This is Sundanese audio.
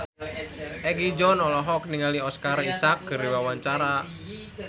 Egi John olohok ningali Oscar Isaac keur diwawancara